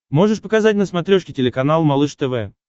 можешь показать на смотрешке телеканал малыш тв